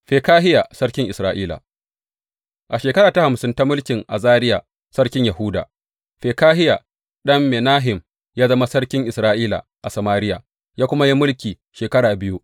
Fekahiya sarkin Isra’ila A shekara ta hamsin ta mulkin Azariya sarkin Yahuda, Fekahiya ɗan Menahem ya zama sarkin Isra’ila a Samariya, ya kuma yi mulki shekara biyu.